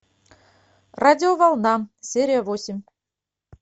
радиоволна серия восемь